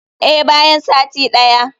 Eh, bayan sati daya.